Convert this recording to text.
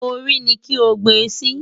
Orí ni kí o gbe sí!